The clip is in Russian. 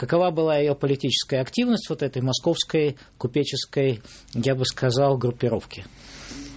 какова была его политическая активность вот этой московской купеческой я бы сказал группировки